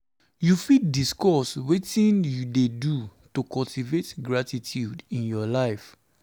you fit discuss wetin you dey do to cultivate gratitude in your life?